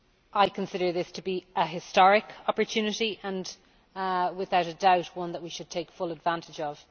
I consider this to be a historic opportunity, and without doubt one that we should take full advantage of.